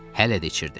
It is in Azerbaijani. Hələ də içirdi.